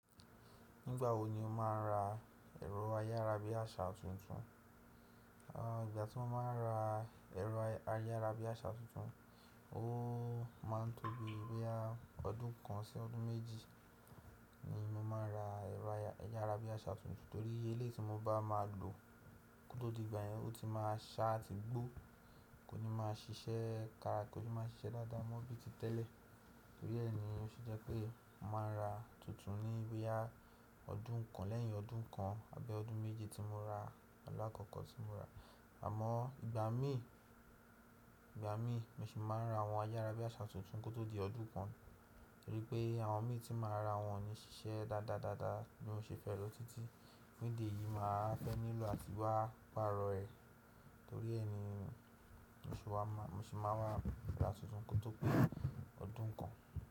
Nígbà wo ni o máa ń ra ẹ̀rọ ayárabíàṣá tuntun? Àn, ìgbà tí mo máa ń ra ẹ̀rọ ayárabíàṣá tuntun, ó máa ń tóbi boyá ọdún kan sí ọdún méjì ni mo máa ń ra ẹ̀rọ ayárabíàṣá tuntun, torí eléétí tí mo bá máa lò kótó di ìgbà yẹn ó ti máa ṣá àti gbó, kò ní máa ṣiṣẹ́ kárakọ̀, kò ní máa ṣiṣẹ́ dáadáa mọ bí i ti tẹ́lẹ̀. Torí ẹ́ ni ó ṣe jẹ́ pé mo máa ń ra tuntun ní boyá ọdún kan lẹ́yìn ọdún kan àbí ọdún méjì tí mo ra ọlọ́ àkọ́kọ́ tí mo rà. Àmọ́ ìgbà mí ìgbà mí, mo sì máa ń ra àwọn ayárabíàṣá tuntun kó tó di ọdún kan, torí pé àwọn mí tí màá ra wọn ni ṣiṣẹ́ dáadáa, dáadáa bí mo ṣe fẹ́ lọ títí, bí dìí yìí máa fẹ́ nílò àti wá pààrọ̀ ẹ̀. Torí ẹ́ ni mo sì wá máa, mo sì máa wá ra tuntun kó tó pé ọdún kan.